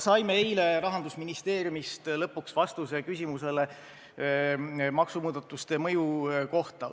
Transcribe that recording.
Saime eile Rahandusministeeriumist lõpuks vastuse küsimusele maksumuudatuste mõju kohta.